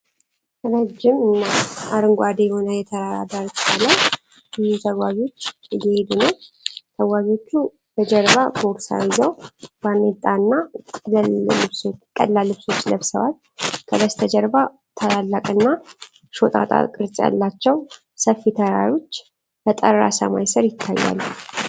ረዥም እና አረንጓዴ በሆነ የተራራ ዳርቻ ላይ ብዙ ተጓዦች እየሄዱ ነው። ተጓዦቹ በጀርባ ቦርሳ ይዘው ባርኔጣና ቀላል ልብሶች ለብሰዋል። ከበስተጀርባ ታላላቅና ሾጣጣ ቅርጽ ያላቸው ሰፊ ተራሮች በጠራ ሰማይ ስር ይታያሉ።